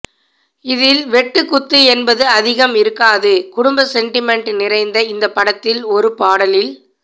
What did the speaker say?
இதில் வெட்டு குத்து என்பது அதிகம் இருக்காது குடும்ப சென்டிமெண்ட் நிறைந்த இந்தப்படத்தில் ஒரு பாடலில்